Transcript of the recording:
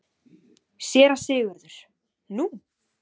SÉRA SIGURÐUR: Nú?